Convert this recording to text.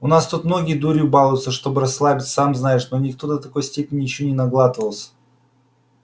у нас тут многие дурью балуются чтобы расслабиться сам знаешь но никто до такой степени ещё не наглатывался